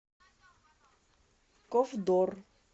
ковдор